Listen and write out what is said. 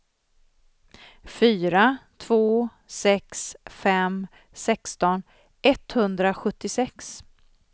fyra två sex fem sexton etthundrasjuttiosex